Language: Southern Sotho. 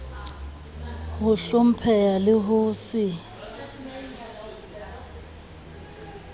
ho hlompheha le ho se